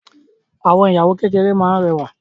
Àwọn ìyàwó kékeré máa n rẹwa.